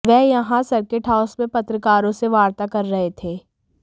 वह यहां circuit house में पत्रकारों से वार्ता कर रहे थे